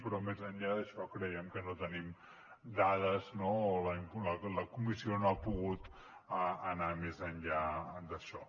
però més enllà d’això creiem que no tenim dades no o la comissió no ha pogut anar més enllà d’això